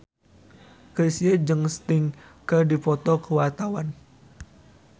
Chrisye jeung Sting keur dipoto ku wartawan